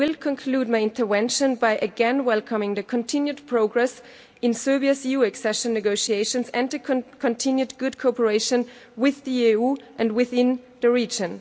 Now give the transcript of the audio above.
I will conclude my intervention by again welcoming the continued progress in Serbia's EU accession negotiations and the continued good cooperation with the EU and within the region.